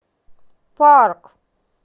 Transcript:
парк